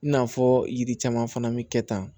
I n'a fɔ yiri caman fana bɛ kɛ tan